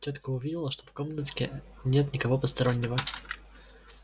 тётка увидела что в комнатке нет никого постороннего